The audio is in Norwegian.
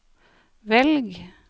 velg